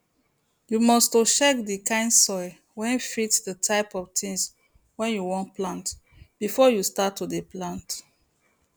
you must to check the kind soil wey fit the type of thing wey you wan plant before you start to dey plant